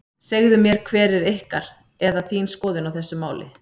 Segðu mér hver er ykkar, eða þín skoðun á þessu máli?